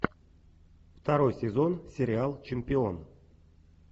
второй сезон сериал чемпион